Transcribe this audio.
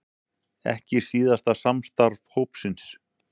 Ekki síðasta samstarf hópsins